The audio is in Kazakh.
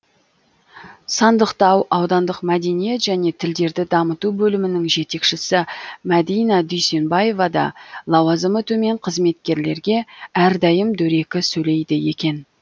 сандықтау аудандық мәдениет және тілдерді дамыту бөлімінің жетекшісі мәдина дүйсенбаева да лауазымы төмен қызметкерлерге әрдайым дөрекі сөйлейді екен